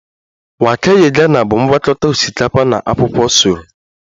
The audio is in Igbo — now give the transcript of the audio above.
Waakye ghana bụ ngwakọta osikapa na akwụkwọ soro